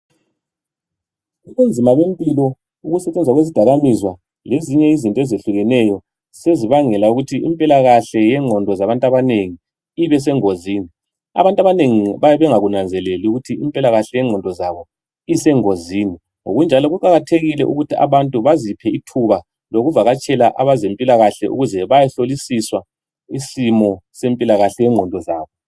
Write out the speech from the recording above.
Ubunzima bempilo, ukusetshenziswa kwezidakamizwa lezinye izinto ezehlukeneyo sezibangela ukuthi impilakahle yengqondo zabantu abanengi ibesengozini. Abantu abanengi bayabe bengakunanzeleli ukuthi impilakahle yengqondo zabo isengozini ngokunjalo kuqakathekile ujuthi abantu baxiphe ithuba lokuvakatshela abezempilakahle ukuze bayehlolisiswa isimo sempilakahle yengqondo zabo.